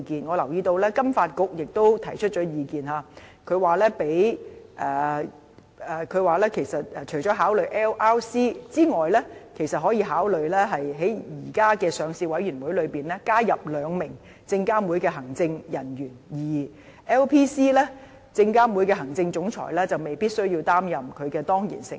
我留意到金融發展局亦提出了意見，說除了考慮 LRC 外，其實亦可以考慮在現時的上市委員會中，加入兩名證監會的行政人員；而 LPC， 證監會的行政總裁就未必需要擔任它的當然成員。